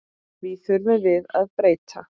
Því þurfum við að breyta.